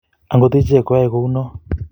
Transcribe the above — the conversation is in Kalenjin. akot ichek koyoei kou noee